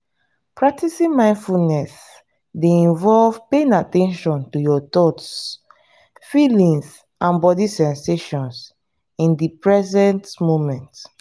practicing mindfulness dey involve paying at ten tion to your thoughts feelings and body sensations in di present moment.